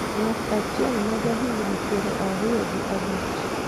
Ng'at achiel ma ja higni piero ariyo gi abich